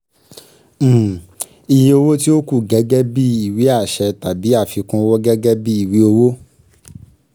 iye um owó tí ó kù gẹ́gẹ́ bíi ìwé àṣẹ tàbí àfikún owó gẹ́gẹ́ bíi ìwé owó